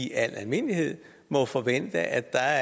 i al almindelighed må forvente at der